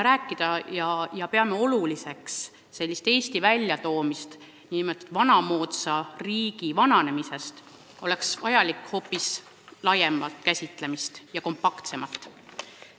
Kui me peame oluliseks, et Eesti ei vananeks vanamoodsalt, siis oleks vaja hoopis laiemat ja kompaktsemat käsitlust.